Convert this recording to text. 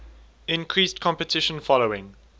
increased competition following